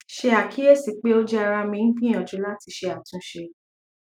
ṣe akiyesi pe o jẹ ara mi n gbiyanju lati ṣe atunṣe